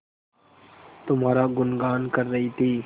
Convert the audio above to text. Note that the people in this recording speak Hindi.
तुम्हारा गुनगान कर रही थी